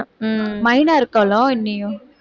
உம் மைனா இருக்காளோ இல்லையோ